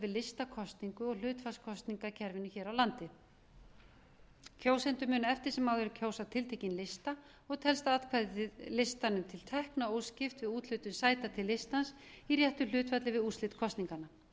við listakosningu og hlutfallskosningakerfinu hér á landi kjósendur munu eftir sem áður kjósa tiltekinn lista og telst atkvæðið listanum til tekna óskipt við úthlutun sæta til listans í réttu hlutfalli við úrslit kosninganna